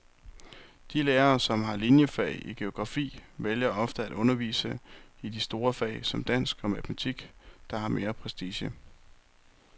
De lærere, som har liniefag i geografi, vælger ofte at undervise i de store fag som dansk og matematik, der har mere prestige.